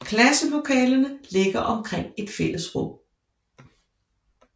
Klasselokalerne ligger omkring et fælles rum